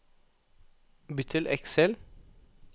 Bytt til Excel